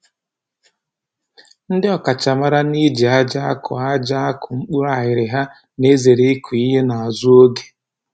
Ndị ọkachamara n'iji aja akụ aja akụ mkpụrụ aghịrịgha na-ezere ịkụ ihe n'azụ oge